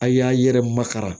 A' y'a yɛrɛ makara